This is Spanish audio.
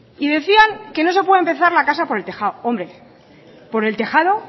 y decían que no se puede empezar la casa por el tejado hombre por el tejado